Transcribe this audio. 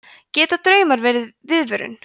geta draumar verið viðvörun